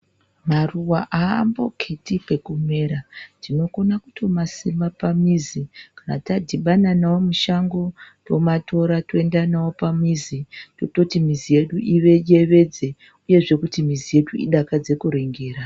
Maruwa haamboketi pekumera. Tinokona kutomasima pamizi. Kana tadhibana nawo mushango, tomatora toenda nawo pamizi, tototi mizi yedu iyevedze uyezve kuti mizi yedu idakadze kuringira.